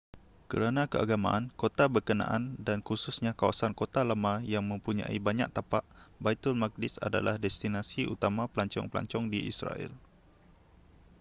kerana keagamaan kota berkenaan dan khususnya kawasan kota lama yang mempunyai banyak tapak baitulmuqaddis ialah destinasi utama pelancong-pelancong di israel